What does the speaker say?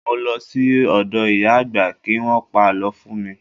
Mo lọ sí ọ̀dọ̀ ìyá àgbà kí Wọ́n pa àlọ́ fún mi.